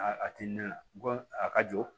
A ti na bɔ a ka jɔ